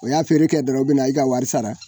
O y'a feere kɛ dɔrɔnw i bɛna i ka wari sara.